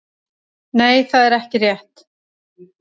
Nei það er ekki rétt.